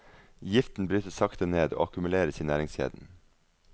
Giften brytes sakte ned, og akkumuleres i næringskjeden.